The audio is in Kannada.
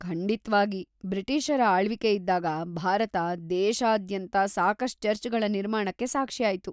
ಖಂಡಿತ್ವಾಗಿ. ಬ್ರಿಟಿಷರ ಆಳ್ವಿಕೆಯಿದ್ದಾಗ ಭಾರತ, ದೇಶಾದ್ಯಂತ ಸಾಕಷ್ಟ್ ಚರ್ಚ್‌ಗಳ ನಿರ್ಮಾಣಕ್ಕೆ ಸಾಕ್ಷಿಯಾಯ್ತು.